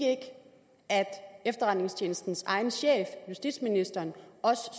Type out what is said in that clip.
at efterretningstjenestens egen chef justitsministeren også